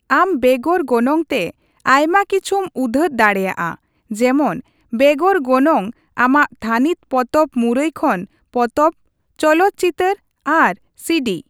ᱟᱢ ᱵᱮᱜᱚᱨ ᱜᱚᱱᱚᱝ ᱛᱮ ᱟᱭᱢᱟ ᱠᱤᱪᱷᱩᱢ ᱩᱫᱷᱟᱹᱨ ᱫᱟᱲᱮᱭᱟᱜᱼᱟ ᱡᱮᱢᱚᱱ ᱵᱮᱜᱚᱨ ᱜᱚᱱᱚᱝ ᱟᱢᱟᱜ ᱛᱷᱟᱹᱱᱤᱛ ᱯᱚᱛᱚᱵ ᱢᱩᱨᱟᱹᱭ ᱠᱷᱚᱱ ᱯᱚᱛᱚᱵ, ᱪᱚᱞᱚᱛ ᱪᱤᱛᱟᱹᱨ ᱟᱨ ᱥᱤᱰᱤ ᱾